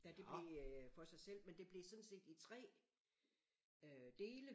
Da det blev for sig selv men det blev sådan set i 3 øh dele